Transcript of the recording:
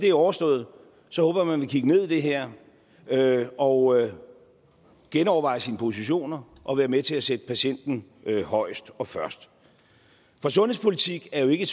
er overstået så vil kigge ned i det her her og genoverveje sine positioner og være med til at sætte patienten højest og først for sundhedspolitik er jo ikke